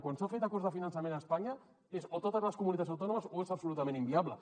quan s’han fet acords de finançament a espanya és o totes les comunitats autònomes o és absolutament inviable